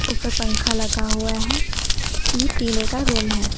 ऊपर पंखा लगा हुआ है ये टीने का रूम है।